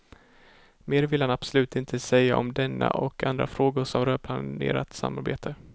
Mer vill han absolut inte säga om denna och andra frågor som rör planerat samarbete.